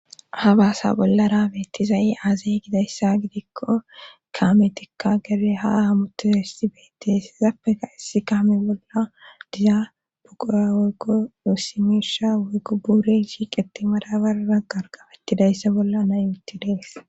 ha baasa bollara beettizayi aazey gidayssa gidikko kaametikka gede ha hamutu hessi beettes hezappeka issi kaami bolla dizabuquya woykko dossimirsha woygubure shiiqeti madabarara gargafettidayssa bolla nayitti dees